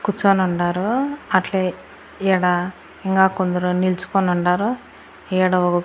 కుచోనుండారు . అట్లే ఈడ ఇంగా కొందరు నిల్చుకోనుండారు ఈడ ఓ --